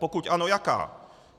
Pokud ano, jaká?